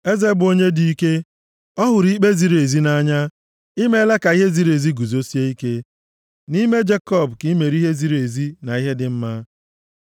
Eze bụ onye dị ike, ọ hụrụ ikpe ziri ezi nʼanya, i meela ka ihe ziri ezi guzosie ike; nʼime Jekọb ka i mere ihe ziri ezi na ihe dị mma.